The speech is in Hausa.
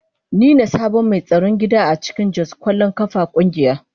Ni ne sabon mai tsaron gida a cikin Jos kwallon kafa kungiya.